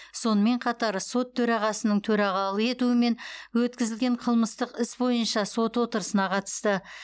сонымен қатар сот төрағасының төрағалық етуімен өткізілген қылмыстық іс бойынша сот отырысына қатысты